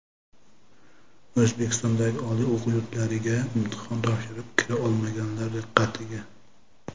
O‘zbekistondagi oliy o‘quv yurtlariga imtihon topshirib, kira olmaganlar diqqatiga!